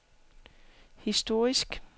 historisk